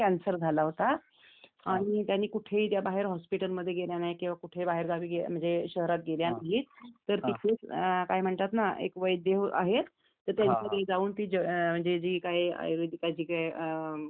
म्हणजे एक होत्या तर त्यांना कॅन्सर झाला होता आणि त्यांनी कुठेही बाहेर हॉस्पिटलमध्ये गेल्या नाही कि बाहेरगावी गेल्या नाही म्हणजे शहरात गेल्या नाहीत तिथे काय म्हणतात ना तर तिथे एक वैद्य आहे त्यांच्याकडे जाऊन जी काही आयुर्वेदिक जे काही काय म्हणतात ना